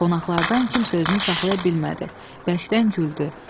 Qonaqlardan kimsə özünü saxlaya bilmədi və bərkdən güldü.